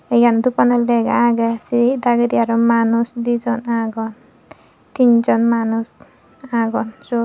te eyen dub anot lega agey sei dagedi aro dijon manuj agon tin jon manuj agon siyot.